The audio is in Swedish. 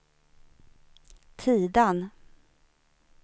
Tidan